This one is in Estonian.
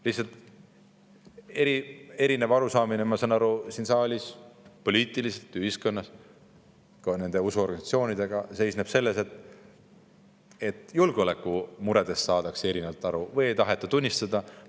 Lihtsalt erinev arusaamine, ma saan aru, siin saalis, poliitiliselt ühiskonnas, ka nende usuorganisatsioonidega, seisneb selles, et julgeolekumuredest saadakse erinevalt aru või ei taheta neid tunnistada.